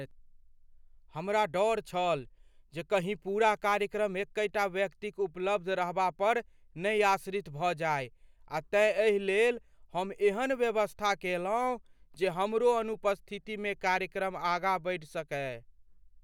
हमरा डर छल जे कहीं पूरा कार्यक्रम एकहि टा व्यक्तिक उपलब्ध रहबापर ने आश्रित भऽ जाय आ तेँ एहि लेल हम एहन व्यवस्था कएलहुँ जे हमरो अनुपस्थितिमे कार्यक्रम आगाँ बढ़ि सकय।